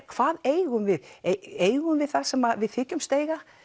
hvað eigum við eigum við það sem við þykjumst eiga